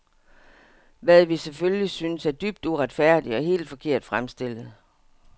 Hvad vi selvfølgelig synes er dybt uretfærdigt og helt forkert fremstillet.